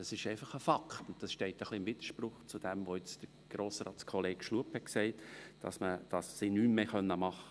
Das ist einfach ein Faktum, und das steht im Widerspruch zu dem, was Grossratskollege Schlup gesagt hat, indem er behauptet, sie könnten nichts mehr machen.